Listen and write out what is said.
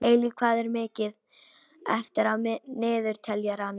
Eilíf, hvað er mikið eftir af niðurteljaranum?